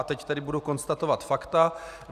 A teď tedy budu konstatovat fakta.